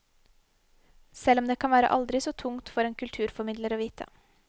Selv om det kan være aldri så tungt for en kulturformidler å vite.